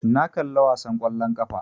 Na kalla wasan ƙwallon ƙafa